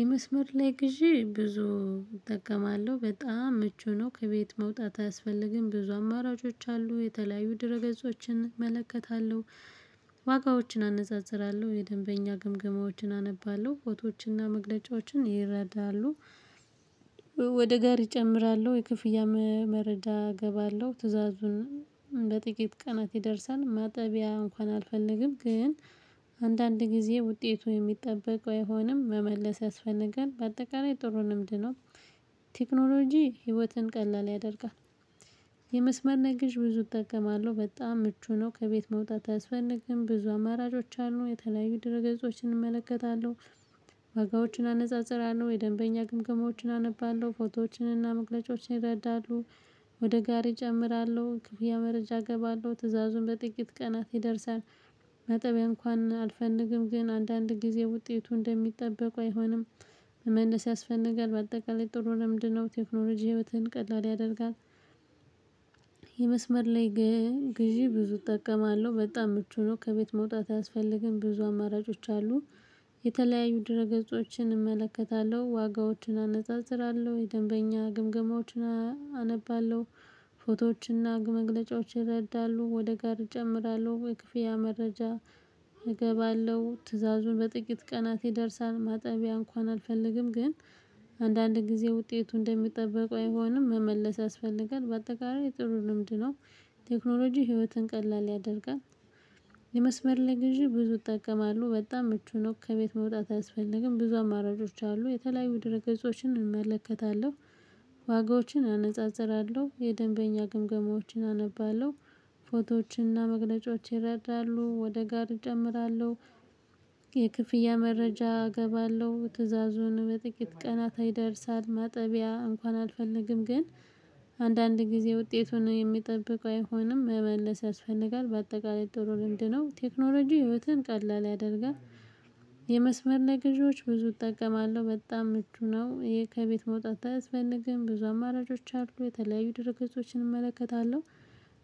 የመስመር ላይ ግዢ ብዙ እጠቀማለሁ በጣም ምቹ ነው። ከቤት መውጣት አያስፈልግም ብዙ አማራጮች አሉ የተለያዩ ድረ ገጾችን እመለከታለሁ። ዋጋዎችን አነጻጽራለሁ የደንበኛ ግምገማዎችን አነባለሁ ፎቶዎችንና መግለጫዎችን ይረዳሉ። ወደ ጋሪ እጨምራለሁ የክፍያ መረጃ አገባለሁ ትዕዛዙን በጥቂት ቀናት ይደርሳል። ማጠቢያ እንኳን አልፈልግም ግን አንዳንድ ጊዜ ውጤቱ የሚጠበቅ አይሆንም መመለስ ያስፈጋል። በአጠቃላይ ጥሩ ልምድ ነው። ቴክኖሎጂ ህይወትን ቀላል ያደርጋል። የመስመር ግዢ ብዙ እጠቀማለሁ በጣም ምቹ ነው። ከቤት መውጣት አያስፈልግም ብዙ አማራጮች አሉ የተለያዩ ድረገጾችን እመለከታለሁ። ዋጋዎችን አነጻጽራለሁ የደንበኛ ግምገማዎችን አነባለሁ ፎቶዎችንና መግለጫዎችን ይረዳሉ። ወደ ጋሪ እጨምራለሁ ክፍያ መረጃ እገባለሁ ትዕዛዙን በጥቂት ቀናት ይደርሳል። ማጠቢያ እንኳን አልፈነግም ግን አንዳንድ ጊዜ ውጤቱ እንደሚጠበቁ አይሆንም መመለስ ያስፈልጋል። በአጠቃላይ ጥሩ ልምድ ነው። ቴክኖሎጂ ህይወትን ቀላል ያደርጋል። የመስመር ላይ ግን ግዢ ብዙ እጠቀማለሁ በጣም ምቹ ነው። ከቤት መውጣት አያስፈልግም ብዙ አማራጮች አሉ የተለያዩ ድረ ገጾችን እመለከታለሁ። ዋጋዎችን አነጻጽራለሁ የደንበኛ ግምገማዎችን አነባለሁ ፎቶዎችንና መግለጫዎችን ይረዳሉ። ወደ ጋር እጨምራለሁ የክፍያ መረጃ እገባለሁ ትዕዛዙን በጥቂት ቀናት ይደርሳል። ማጠቢያ እንኳን አልፈልግም ግን አንዳንድ ጊዜ ውጤቱ እንደሚጠበቁ አይሆንም መመለስ ያስፈልጋል። በአጠቃላይ ጥሩ ልምድ ነው። ቴክኖሎጂ ህይወትን ቀላል ያደርጋል። የመስመር ላይ ግዢ ብዙ እጠቀማለሁ በጣም ምቹ ነው። ከቤት መውጣት አያስፈልግም ብዙ አማራጮች አሉ የተለያዩ ድረ ገጾችን እመለከታለሁ። ዋጋዎችን አነጻጽራለሁ የደንበኛ ግምገማዎችን አነባለሁ ፎቶዎችንና መግለጫዎችን ይረዳሉ። ወደ ጋር እጨምራለሁ የክፍያ መረጃ እገባለሁ ትእዛዙን በጥቂት ቀናት አይደርሳል። ማጠቢያ እንኳን አልፈልግም ግን አንዳንድ ጊዜ ውጤት ሆኖ የሚጠብቀው አይሆንም መመለስ ያስፈልጋል። በአጠቃላይ ጥሩ ልምድ ነው። ቴክኖሎጂ ህይወትን ቀላል ያደርጋል። የመስመር ለገዢዎች ብዙ እጠቀማለሁ በጣም ምቹ ነው። ይሄ ከቤት መውጣት አያስልግም ብዙ አማራጮች አሉ የተለያዩ ድረገጾችን እመለከታለሁ።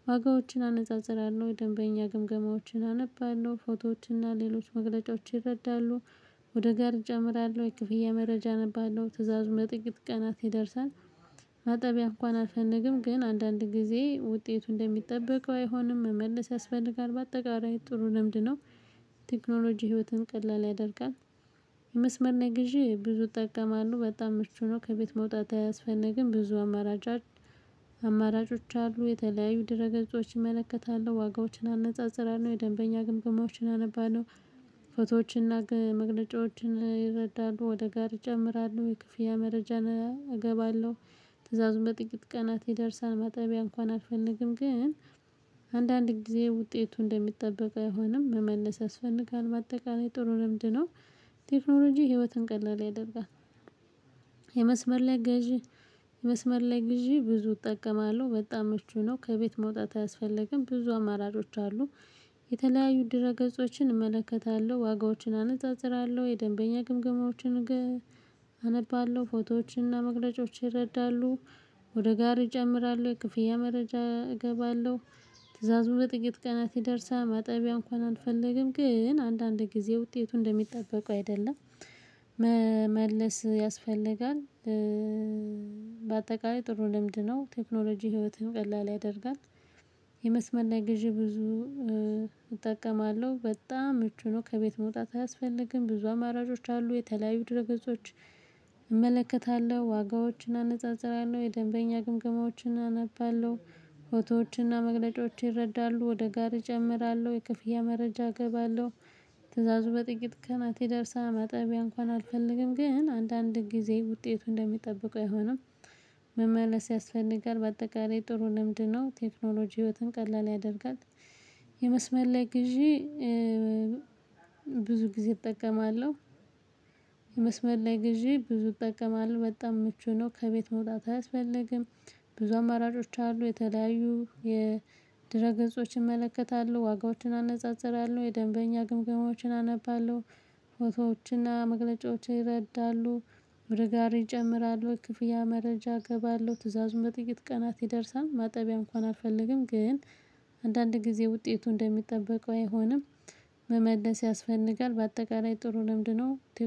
ዋጋዎችን አነጻጽራለሁ የደንበኛ ግምገማዎችን አነባለሁ ፎቶዎችን እና ሌሎች መግለጫዎችን ይረዳሉ። ወደ ጋርጃ አምራለሁ የክፍያ መረጃ ነበረው ትእዛዙ ለጥቂት ቀናት ይደርሳል። ማጠቢያ እንኳን አልፈልግም ግን አንዳንድ ጊዜ ውጤቱ እንደሚጠበቀው አይሆንም መመልስ ያስፈልጋል። በአጠቃላይ ጥሩ ልምድ ነው። ቴክኖሎጂ ህይወትን ቀላል ያደርጋል። የመስመርና ግዢ ብዙ እጠቀማለሁ በጣም ምቹ ነው። ከቤት መውጣት አያስፈልግም ብዙ አማራጭ አማራጮች አሉ የተለያዩ ድረ ገጾችን እመለከታለሁ። ዋጋዎችን አነጻጽራለሁ የደንበኛ ግንብግማዎችን አነባለሁ ፎቶዎችን እና መግለጫዎችን ይረዳሉ። ወደ ጋርጃ አመራለሁ የክፍያ መረጃ እገባለሁ ትዕዛዙን በጥቂት ቀናት ይደርሳል። ማጠቢያ እንኳን አልፈልግም ግን አንዳንድ ጊዜ ውጤቱ እንደሚጠበቅ አይሆንም መመለስ ያስፈልጋል። በአጠቃላይ ጥሩ ልምድ ነው። ቴክኖሎጂ ህይወትን ቀላል ያደርጋል። የመስመር ላይ ገዢ መስመር ላይ ገዢ ብዙ እጠቀማለሁ በጣም ምቹ ነው። ከቤት መውጣት አያስፈልግም ብዙ አማራጮች አሉ የተለያዩ ድረ ገጾችን እመለከታለሁ። ዋጋዎችን አነጻጽራለሁ የደንበኛ ግምገማዎችን አነባለሁ ፎቶዎችን እና መግለጫዎችን ይረዳሉ። ወደ ጋርጃ አመራለሁ የክፍያ መረጃ እገባለሁ ትእዛዙ በጥቂት ቀናት ይደርሳል። ማጠቢያ እንኳን አልፈልግም ግን አንዳንድ ጊዜ ውጤቱ እንደሚጠበቀው አይደለም መመለስ ያስፈልጋል። በአጠቃላይ ጥሩ ልምድ ነው። ቴክኖሎጂ ህይወትን ቀላል ያደርጋል። የመስመር ላይ ገዢ ብዙ እጠቀማለሁ በጣም ምቹ ነው። ከቤት መውጣት አያስፈልግም ብዙ አማራጮች አሉ የተለያዩ ድረገጾች እመለከታለሁ። ዋጋዎችን አነጻጽራለሁ የደንበኛ ግምገማዎችን አነባለሁ ፎቶዎችንና መግለጫዎች ይረዳሉ። ወደ ጋርጅ አመራለሁ የክፍያ መረጃ እገባለሁ ትእዛዙ በጥቂት ቀናት የደርሳል። ማጠቢያ እንኳን አልፈልግም ግን አንዳንድ ጊዜ ውጤቱ እንደሚጠብቀው አይሆንም መመለስ ያስፈልጋል። በአጠቃላይ ጥሩ ልምድ ነው። ቴክኖሎጂ ህይወትን ቀላል ያደርጋል። የመስመል ላይ ግዢ ብዙ ጊዜ እጠቀማለሁ። የመስመር ላይ ግዢ ብዙ እጠቀማለሁ በጣም ምቹ ነው። ከቤት መውጣት አያስፈልግም። ብዙ አማራጮች አሉ የተለያዩ የድረ ገጾችን እመለከታለሁ። ዋጋዎችን አነጻጽራለሁ የደንበኛ ግምገማዎችን አነባለሁ ፎቶዎችንና መግለጫዎችን ይረዳሉ። ወደጋር እጨምራሉ ክፍያ መረጃ እገባለሁ ትዕዛዙን በጥቂት ቀናት ይደርሳል። ማጠቢያ እንኳን አልፈልግም ግን አንዳንድ ጊዜ ውጤቱ እንደሚጠበቀው አይሆንም መመለስ ያስፈልጋል። በአጠቃላይ ጥሩ ልምድ ነው